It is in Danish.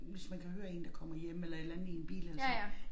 Hvis man kan høre én der kommer hjem eller et eller andet i en bil eller så